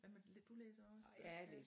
Hvad med du læser også?